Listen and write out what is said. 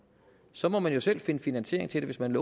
så må man jo selv finde finansiering til det hvis man